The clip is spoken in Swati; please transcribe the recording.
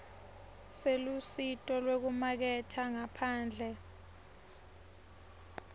selusito lwekumaketha ngaphandle